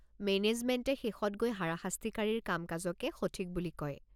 মেনেজমেণ্টে শেষত গৈ হাৰাশাস্তিকাৰীৰ কাম-কাজকে সঠিক বুলি কয়।